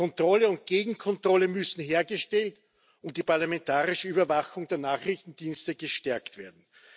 Kontrolle und Gegenkontrolle müssen hergestellt und die parlamentarische Überwachung der Nachrichtendienste gestärkt werden.